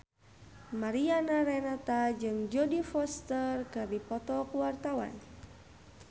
Mariana Renata jeung Jodie Foster keur dipoto ku wartawan